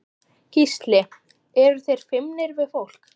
Gísli: Eru þeir feimnir við fólk?